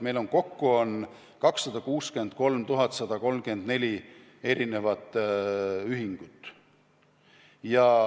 Meil on kokku 263 134 erinevat ühingut.